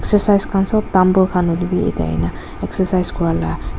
exercise kan sob tumbbell kan hoilebe yati ahikina exercise kura la.